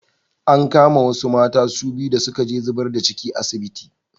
An kama wasu mata su biyu da suka je zibar da ci a asibiti.